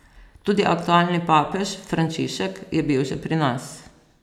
Tudi aktualni papež, Frančišek, je bil že pri nas.